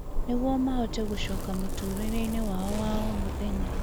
nĩguo mahote gũcoka mũtũũrĩre-inĩ wao wa o mũthenya